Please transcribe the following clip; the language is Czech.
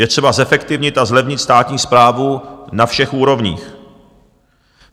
Je třeba zefektivnit a zlevnit státní správu na všech úrovních.